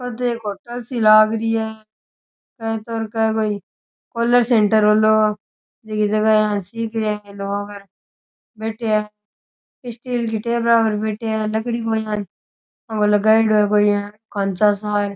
ओ तो एक होटल सी लागरी है के तो कोई कॉलर सेंटर हुलो बिकी जगह यान सिख रहिया है लोग बैठया है स्टील की टेबला पर बैठया है लकड़ी को यान आंके लगायोडो है यान कोई खाँचो सा।